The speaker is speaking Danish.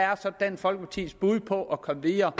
dansk folkepartis bud på at komme videre